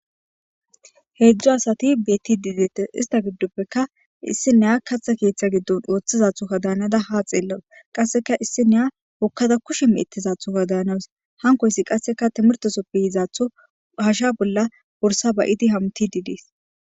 Hedzdzu asati betididetes ista giddoppeka issi naaya kaththa keththa giddon oththizzadugadan danada ha xelawus kasekka issiniya hokkada kushshe meththizaduga danawus hanikoyikka qassi timirt keththappe yizaththon ba hashshiya bollan borssa tokiddi hametidi de'es.